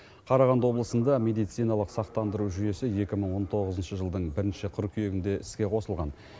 қарағанды облысында медициналық сақтандыру жүйесі екі мың он тоғызыншы жылдың бірінші қыркүйегінде іске қосылған